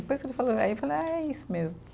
Depois que ele falou, aí eu falei, ah é isso mesmo.